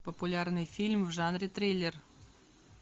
популярный фильм в жанре триллер